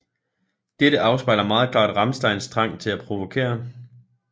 Dette afspejler meget klart Rammsteins trang til at provokere